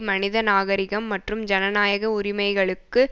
மனித நாகரிகம் மற்றும் ஜனநாயக உரிமைகளுக்கு